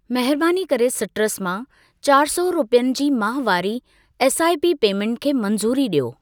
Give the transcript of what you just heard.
महिरबानी करे सिट्रस मां चारि सौ रुपियनि जी माहवारी एसआइपी पेमेंटु खे मंज़ूरी ॾियो।